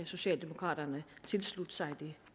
socialdemokraterne tilslutte sig det